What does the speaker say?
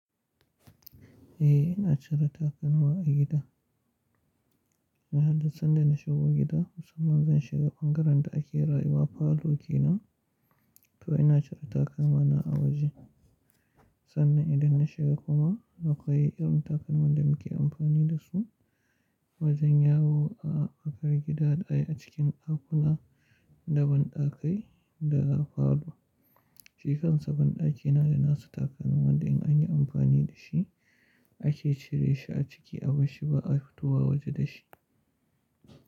Eh ina cire takalma a gida. Na haddasa inda na shigo gida, musamman zan shiga bangaren da ake rayuwa falo ke nan to ina cire takalmana a waje sannan idan na shiga kuma na koyi irin takalman da muke amfani da su wajen yawo a tsakar gida ɗaya a cikin dakuna da banɗakai da falo. Shikansa ban ɗaki na da nasa takalman da in anyi amfani da shi ake cire shi a ciki a barshi ba a fito wa waje da shi.